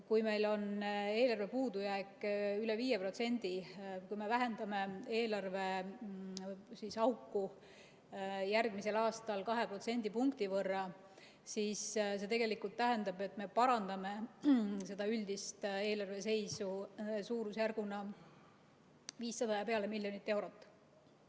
Kui meil on eelarve puudujääk üle 5%, kui me vähendame eelarveauku järgmisel aastal kahe protsendipunkti võrra, siis see tegelikult tähendab, et me parandame üldist eelarveseisu suurusjärgus üle 500 miljoni euro.